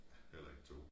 Heller ikke 2